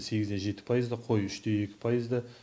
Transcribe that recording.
сегіз де жеті пайызды қой үш те екі пайызды